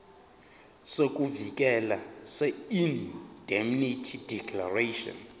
sokuvikeleka seindemnity declaration